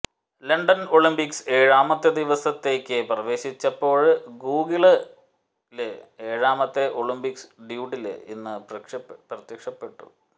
London Olympics ഏഴാമത്തെ ദിവസത്തേയ്ക്ക് പ്രവേശിച്ചപ്പോള് ഗൂഗിളില് ഏഴാമത്തെ ഒളിംപിക് ഡൂഡില് ഇന്ന് പ്രത്യക്ഷപ്പെട്ടു